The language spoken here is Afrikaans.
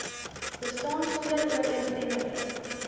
bestaan sonder ooreenstemmende